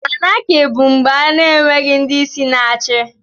Anákị bù mgbè a n'enweghị ndị isi na-achị